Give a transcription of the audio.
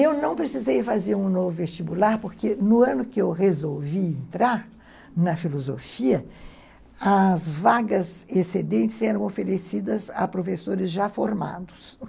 Eu não precisei fazer um novo vestibular, porque no ano que eu resolvi entrar na filosofia, as vagas excedentes eram oferecidas a professores já formados.